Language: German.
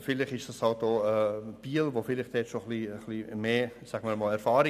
Vielleicht hat Biel da schon etwas mehr Erfahrung.